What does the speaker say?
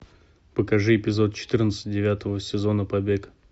покажи эпизод четырнадцать девятого сезона побег